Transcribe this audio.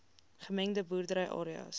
gemengde boerdery areas